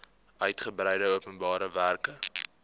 uitgebreide openbare werke